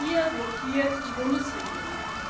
Auch hier blockiert die Bundesregierung.